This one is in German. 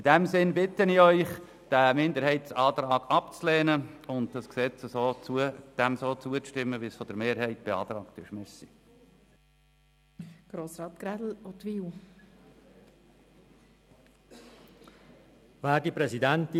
In diesem Sinn bitte ich Sie, diesen Minderheitsantrag abzulehnen und dem Gesetz so zuzustimmen, wie es von der Mehrheit der Kommission beantragt worden ist.